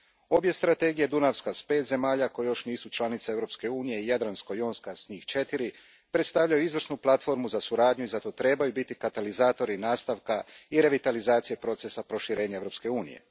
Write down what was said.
Obje strategije, Dunavska s pet zemalja koje još nisu članice Europske unije i Jadransko jonska s njih četiri, predstavljaju izvrsnu platformu za suradnju i zato trebaju biti katalizatori nastavka i revitalizacije procesa proširenja Europske unije.